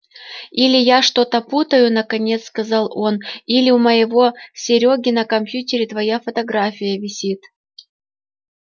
или я что-то путаю наконец сказал он или у моего серёги на компьютере твоя фотография висит